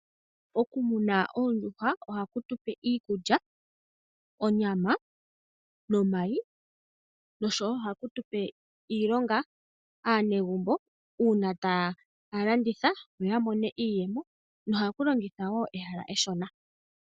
Oku muna oondjuhwa ohaku tupe iikulya, onyama nomayi noshowo ohaku tupe iilonga, aanegumbo una taya landitha ohaya mono iiyemo. Ohaku longitha wo ehala eshona.